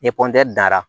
Ni danna